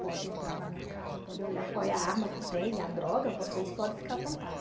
Pode entrar na minha casa, pode olhar qual é a arma que tem, a droga, vocês podem ficar à vontade.